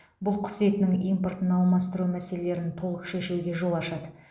бұл құс етінің импортын алмастыру мәселелерін толық шешуге жол ашады